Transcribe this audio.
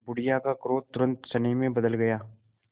बुढ़िया का क्रोध तुरंत स्नेह में बदल गया